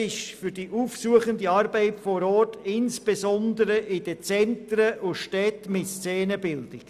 Dies betrifft die aufsuchende Arbeit vor Ort, insbesondere in den Zentren und Städten mit Szenenbildung.